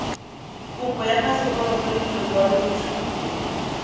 kopo ya phaseporoto le lekwaloitshupo